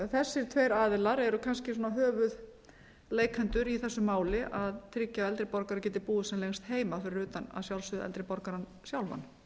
þessir tveir aðilar eru kannski svona höfuðleikendur í þessu máli að tryggja að eldri borgarar geti búið sem lengst heima fyrir utan að sjálfsögðu eldri borgarann sjálfan